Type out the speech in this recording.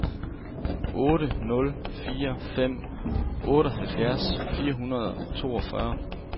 otte nul fire fem otteoghalvfjerds fire hundrede og toogfyrre